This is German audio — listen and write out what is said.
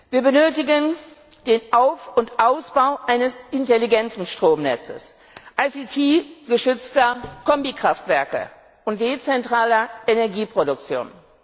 Wir benötigen den Auf und Ausbau eines intelligenten Stromnetzes, als ICT gestützter Kombikraftwerke und dezentraler Energieproduktion.